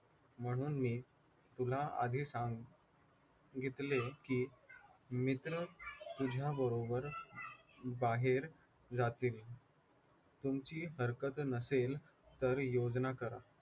म्हणून मी तुला आधी सांग घेतले कि मित्र तुझ्याबरोबर बाहेर जातील तुमची हरकत नसेल तर योजना करा